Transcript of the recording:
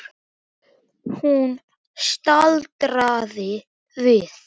Hún staldraði við.